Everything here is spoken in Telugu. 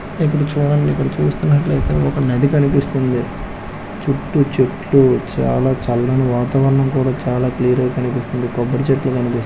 ఇప్పుడు చూడండి ఇక్కడ చూస్తున్నట్లైతే ఒక నది కనిపిస్తుంది చుట్టు చెట్లు చాలా చల్లని వాతావరణం కూడా చాలా క్లియర్గా కనిపిస్తుంది కొబ్బరి చెట్లు కనిపిస్తున్నాయ్--